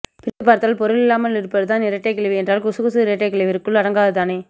பிரித்துப் பார்த்தால் பொருள் இல்லாமல் இருப்பது தான் இரட்டைக் கிளவி என்றால் குசுகுசு இரட்டைக்கிளவியிற்குள் அடங்காது தானே